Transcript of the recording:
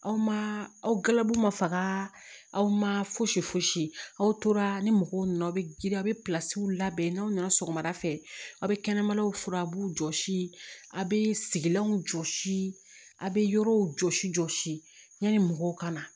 Aw ma aw galabuw ma faga aw ma fosi fosi aw tora ni mɔgɔw nana aw bɛ girin aw bɛ pilasiw labɛn n'aw nana sɔgɔmada fɛ aw bɛ kɛnɛmanaw furabulu jɔsi aw bɛ sigilanw jɔsi a' bɛ yɔrɔw jɔsi jɔsi yani mɔgɔw ka na